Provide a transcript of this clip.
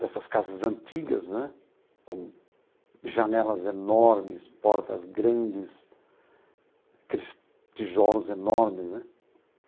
dessas casas antigas né, com janelas enormes, portas grandes, aqueles tijolos enormes né.